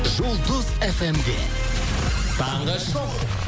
жұлдыз фмде таңғы шоу